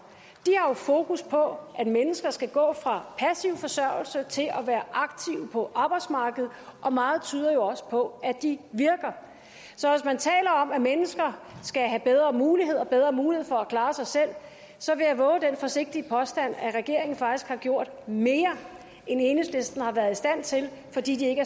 har fokus på at mennesker skal gå fra passiv forsørgelse til at være aktive på arbejdsmarkedet og meget tyder jo også på at de virker så hvis man taler om at mennesker skal have bedre muligheder for at klare sig selv så vil jeg vove den forsigtige påstand at regeringen faktisk har gjort mere end enhedslisten har været i stand til fordi de ikke